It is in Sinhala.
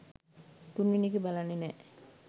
තුන්වෙනි එක බලන්නෙ නෑ